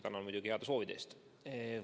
Tänan muidugi ka heade soovide eest!